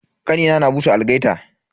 Kanina na busa algaita.